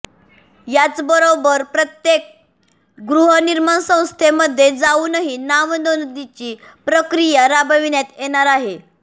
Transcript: याचबरोबर प्रत्येक गृहनिर्माण संस्थेमध्ये जाऊनही नाव नोंदणीची प्रक्रिया राबविण्यात येणार आहे